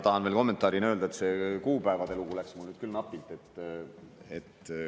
Tahan veel kommentaarina öelda, et see kuupäevade lugu läks mul nüüd küll napilt.